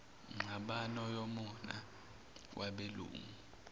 ngxabano yomona wabelungu